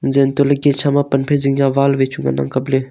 jantole kisam a pan phai zing ka wall wai chu ngan le.